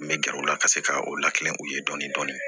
N bɛ gɛrɛ u la ka se ka o lakinɛ u ye dɔɔni dɔɔni